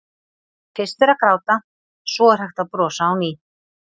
Fyrst er að gráta, svo er hægt að brosa á ný.